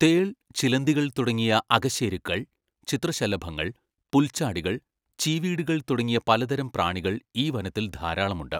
തേൾ, ചിലന്തികൾ തുടങ്ങിയ അകശേരുക്കൾ, ചിത്രശലഭങ്ങൾ, പുൽച്ചാടികൾ, ചീവീടുകൾ തുടങ്ങിയ പലതരം പ്രാണികൾ ഈ വനത്തിൽ, ധാരാളമുണ്ട്.